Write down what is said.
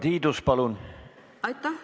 Aitäh!